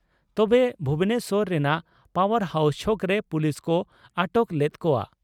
ᱛᱚᱵᱮ ᱵᱷᱩᱵᱚᱱᱮᱥᱚᱨ ᱨᱮᱱᱟᱜ power house ᱪᱷᱚᱠᱨᱮ ᱯᱳᱞᱤᱥ ᱠᱚ ᱟᱴᱚᱠ ᱞᱮᱫ ᱠᱚᱜᱼᱟ ᱾